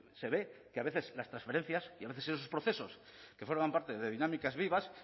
se ve que a veces las transferencias y a veces esos procesos que forman parte de dinámicas vivas